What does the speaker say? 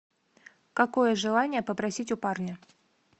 какое желание попросить у парня